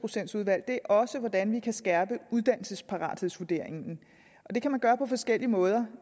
procents udvalg er også hvordan vi kan skærpe uddannelsesparathedsvurderingen det kan man gøre på forskellige måder